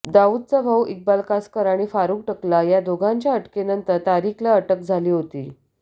दाऊदचा भाऊ इक्बाल कासकर आणि फारूख टकला या दोघांच्या अटकेनंतर तारिकला अटक झाली होती